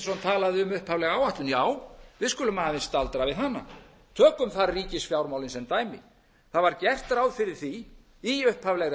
talaði um upphaflega áætlun já við skulum aðeins staldra við hana tökum þar ríkisfjármálin sem dæmi það var gert ráð fyrir því í upphaflegri